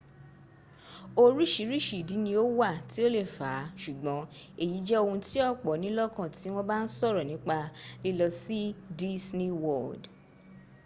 orírìíríṣìí ìdí ni ó wà tí o lè fà á ṣùgbọ́n èyí jẹ́ ohun tí ọ̀pọ̀ ní lọ́kàn tí wọ́n ba ń sọ̀rọ̀ nípa lílọ sí disney world